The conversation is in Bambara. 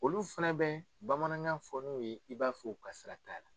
Olu fana bɛ bamanankan fɔ n'u ye i b'a fɔ u ka sira t'a la.